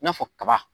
I n'a fɔ kaba